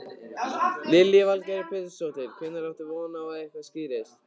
Lillý Valgerður Pétursdóttir: Hvenær áttu von á að eitthvað skýrist?